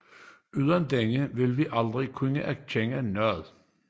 Uden denne ville vi aldrig kunne erkende noget